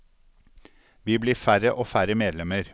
Vi blir færre og færre medlemmer.